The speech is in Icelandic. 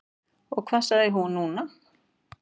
Og hvað sagði hún núna?